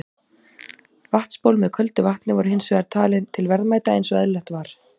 Vatnsból með köldu vatni voru hins vegar talin til verðmæta eins og eðlilegt var.